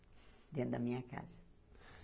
Dentro da minha casa.